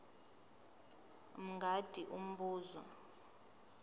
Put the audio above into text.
mj mngadi umbuzo